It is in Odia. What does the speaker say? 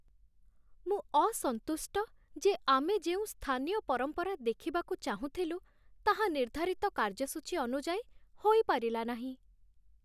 ମୁଁ ଅସନ୍ତୁଷ୍ଟ ଯେ ଆମେ ଯେଉଁ ସ୍ଥାନୀୟ ପରମ୍ପରା ଦେଖିବାକୁ ଚାହୁଁଥିଲୁ, ତାହା ନିର୍ଦ୍ଧାରିତ କାର୍ଯ୍ୟସୂଚୀ ଅନୁଯାୟୀ ହୋଇପାରିଲା ନାହିଁ।